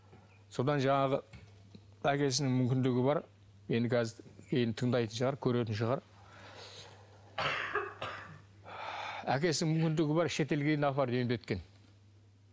содан жаңағы әкесінің мүмкіндігі бар енді қазір мені тыңдайтын шығар көретін шығар әкесінің мүмкіндігі бар шетелге дейін апарып емдеткен